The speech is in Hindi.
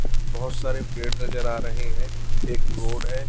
बहुत सारे पेड़ नजर आ रहे हैं एक रोड है।